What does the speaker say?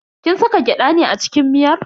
Kin saka gyada ne a cikin miyar?